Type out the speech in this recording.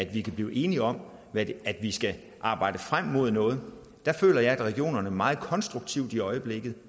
vi kan blive enige om at vi skal arbejde frem mod noget der føler jeg at regionerne meget konstruktivt i øjeblikket